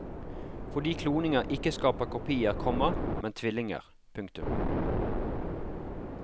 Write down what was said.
Fordi kloning ikke skaper kopier, komma men tvillinger. punktum